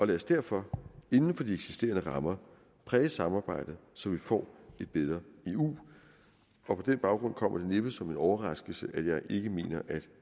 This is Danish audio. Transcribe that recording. lad os derfor inden for de eksisterende rammer præge samarbejdet så vi får et bedre eu på den baggrund kommer det næppe som en overraskelse at jeg ikke mener at